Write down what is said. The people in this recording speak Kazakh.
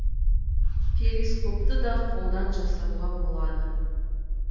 перископты да қолдан жасауға болады